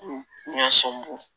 Ɲɔ sɔn bɔn